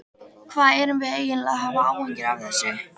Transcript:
Hvað erum við eiginlega að hafa áhyggjur af þessu?